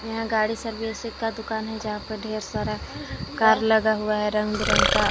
यहां गाड़ी सर्विसिंग का दुकान है जहां पर ढेर सारा कार लगा हुआ है रंग बिरंगा का